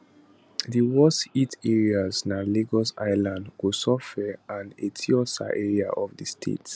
di worst hit areas na lagos island kosofe and etiosa area of di state